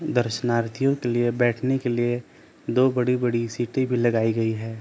दर्शनार्थियों के लिए बैठने के लिए दो बड़ी बड़ी सी टेबिल लगाई गई है।